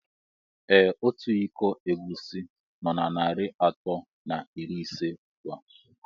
Ee Ọtu ịkọ egwusi nó na narị atọ na iri ise ugbua.